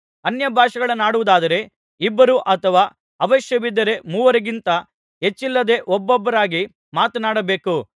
ಅನ್ಯಭಾಷೆಗಳನ್ನಾಡುವುದಾದರೆ ಇಬ್ಬರು ಅಥವಾ ಅವಶ್ಯವಿದ್ದರೆ ಮೂವರಿಗಿಂತ ಹೆಚ್ಚಿಲ್ಲದೆ ಒಬ್ಬೊಬ್ಬರಾಗಿ ಮಾತನಾಡಬೇಕು